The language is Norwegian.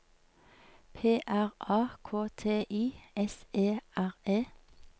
P R A K T I S E R E